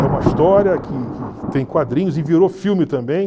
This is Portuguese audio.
É uma história que que tem quadrinhos e virou filme também.